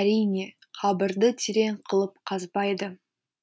әрине қабірді терең қылып қазбайды